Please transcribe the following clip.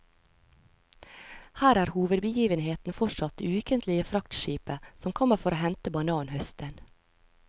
Her er hovedbegivenheten fortsatt det ukentlige fraktskipet som kommer for å hente bananhøsten.